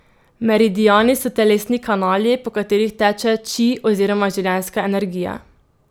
Meridiani so telesni kanali, po katerih teče či oziroma življenjska energija.